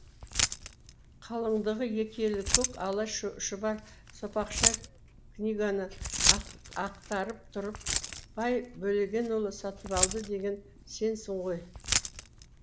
қалыңдығы екі елі көк ала шұбар сопақша книганы ақтарып тұрып бай бөлегенұлы сатыбалды деген сенсің ғой